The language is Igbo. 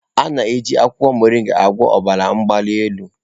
A na-eji akwụkwọ Mọringa agwọ ọbara mgbali elu.